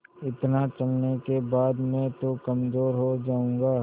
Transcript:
इतना चलने के बाद मैं तो कमज़ोर हो जाऊँगा